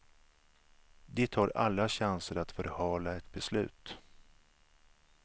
De tar alla chanser att förhala ett beslut.